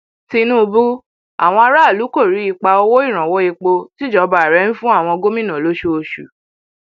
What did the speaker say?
tinúbú àwọn aráàlú kò rí ipa owó ìrànwọ epo tíjọba rẹ ń fún àwọn gómìnà lóṣooṣù o